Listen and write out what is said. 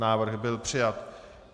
Návrh byl přijat.